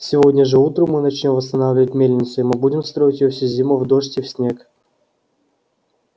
сегодня же утром мы начнём восстанавливать мельницу и мы будем строить её всю зиму в дождь и в снег